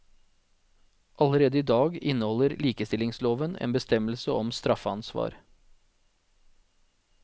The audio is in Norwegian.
Allerede i dag inneholder likestillingsloven en bestemmelse om straffansvar.